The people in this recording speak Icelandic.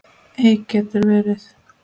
Eik getur verið